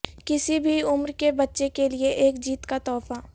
کسی بھی عمر کے بچے کے لئے ایک جیت کا تحفہ